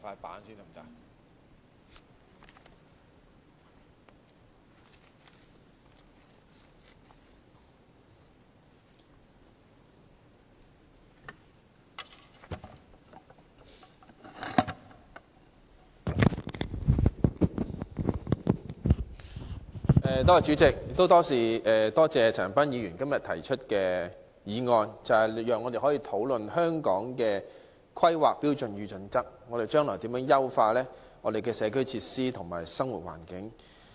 代理主席，多謝陳恒鑌議員提出這項議案，讓我們討論《香港規劃標準與準則》如何優化我們的社區設施和生活環境。